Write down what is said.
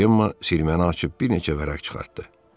Cema sirməni açıb bir neçə vərəq çıxartdı.